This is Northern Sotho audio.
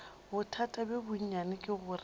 bothata bjo bonnyane ke gore